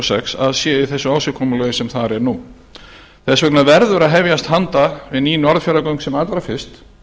sex að sé í þessu ásigkomulagi sem þar er nú þess vegna verður að hefjast handa við ný norðfjarðargöng sem allra fyrst